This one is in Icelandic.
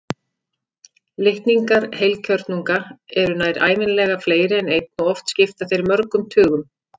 Litningar heilkjörnunga eru nær ævinlega fleiri en einn og oft skipta þeir mörgum tugum.